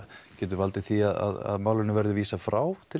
getur valdið því að málinu verði vísað frá